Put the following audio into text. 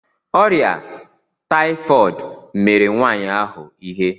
Ọrịa taịfọd mere nwaanyị ahụ ihe.